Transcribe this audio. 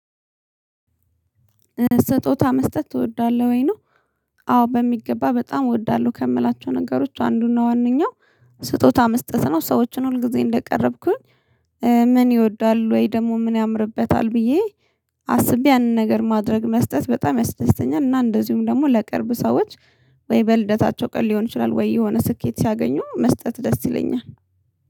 ስጦታ መስጠት ትወዳለህ ወይ? ነው አዎ በሚገባ በጣም እወዳለሁ ከምላቸው ነገሮች አንዱና ዋናው ስጦታ መስጠት ነው ሰዎችን ሁል ጊዜ እንደቀረብኩኝ ምን ይወዳሉ ወይ ደግሞ ምን ያምርበታል ብዬ አስቤ ያንን ነገር ማድረግ መስጠት በጣም ያስደስተኛል። እና እንደዚሁም ደግሞ ለቅርብ ሰዎች ወይ በልደታቸው ቀን ሊሆን ይችላል ወይ የሆነ ስኬት ሲያገኙ መስጠት ደስ ይለኛል